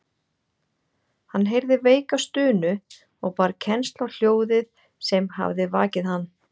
Hann heyrði veika stunu og bar kennsl á hljóðið sem hafði vakið hann.